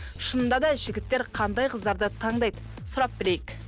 шынында да жігіттер қандай қыздарды таңдайды сұрап білейік